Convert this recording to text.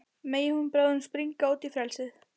Megi hún bráðum springa út í frelsið.